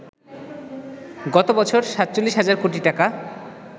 গত বছর ৪৭ হাজার কোটি টাকা